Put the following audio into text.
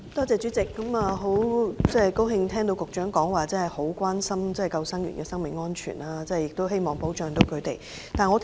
主席，很高興聽到局長表示關心救生員的生命安全，也希望可以保障他們。